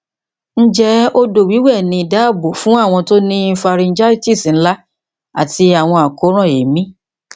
njẹ odo wiwe ni daabo fun awon ti o ni pharyngitis nla ati awọn akoran eemi